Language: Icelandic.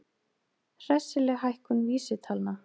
Hressileg hækkun vísitalna